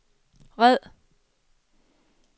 red